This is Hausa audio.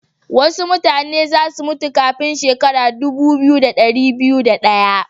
Wasu mutane za su mutu kafin shekara dubu biyu, da dari biyu da daya.